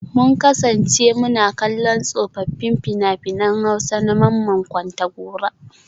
Mun kasance muna kallon tsofaffin fina-finan Hausa na Mamman Kontagora